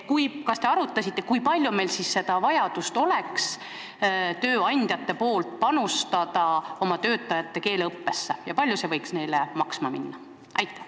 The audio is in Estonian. Kas te arutasite, kui palju oleks vaja tööandjatel panustada oma töötajate keeleõppesse ja kui palju see võiks neile maksma minna?